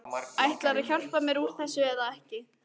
Ætlarðu að hjálpa mér út úr þessu eða ekki?